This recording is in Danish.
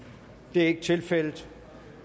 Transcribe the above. det er ikke tilfældet